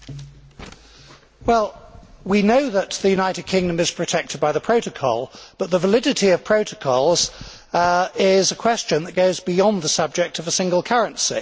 Mr President, we know that the United Kingdom is protected by the Protocol, but the validity of protocols is a question that goes beyond the subject of a single currency.